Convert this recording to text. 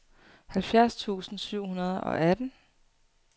halvfjerds tusind syv hundrede og atten